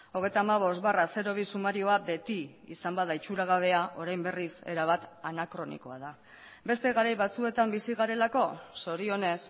hogeita hamabost barra bi sumarioa beti izan bada itxuragabea orain berriz erabat anakronikoa da beste garai batzuetan bizi garelako zorionez